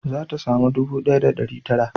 Za ta samu ɗubu ɗaya da ɗari tara